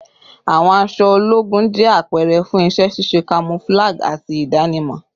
Awọn aṣọ ologun jẹ apẹrẹ fun iṣẹ ṣiṣe, camouflage, ati idanimọ